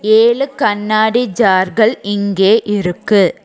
ஏழு கண்ணாடி ஜார்கள் இங்கே இருக்கு.